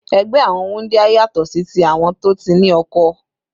Ẹgbẹ́ àwọn wúndíá yàtọ̀ sí ti àwọn tó ti ní oko.